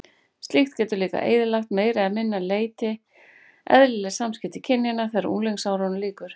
Slíkt getur líka eyðilagt að meira eða minna leyti eðlileg samskipti kynjanna þegar unglingsárunum lýkur.